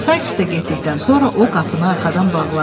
Sayks da getdikdən sonra o qapını arxadan bağladı.